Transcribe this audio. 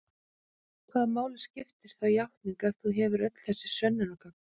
Hvaða máli skiptir þá játning ef þú hefur öll þessi sönnunargögn?